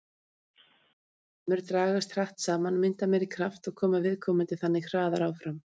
Hraðar vöðvafrumur dragast hratt saman, mynda meiri kraft og koma viðkomandi þannig hraðar áfram.